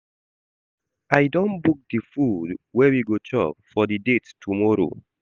I don book di food wey we go chop for di date tomorrow.